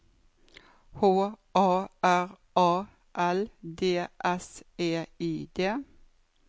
H A R A L D S E I D